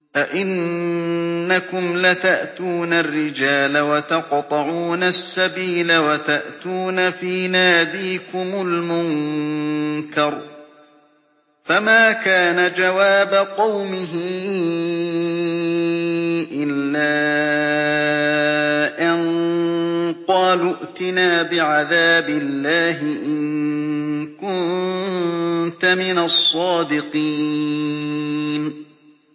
أَئِنَّكُمْ لَتَأْتُونَ الرِّجَالَ وَتَقْطَعُونَ السَّبِيلَ وَتَأْتُونَ فِي نَادِيكُمُ الْمُنكَرَ ۖ فَمَا كَانَ جَوَابَ قَوْمِهِ إِلَّا أَن قَالُوا ائْتِنَا بِعَذَابِ اللَّهِ إِن كُنتَ مِنَ الصَّادِقِينَ